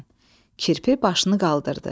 Kirpi başını qaldırdı.